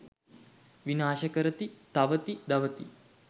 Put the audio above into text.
විනාශ කරති, තවති, දවති.